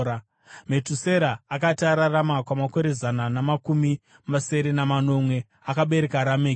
Metusera akati ararama kwamakore zana namakumi masere namanomwe, akabereka Rameki.